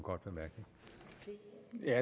vi er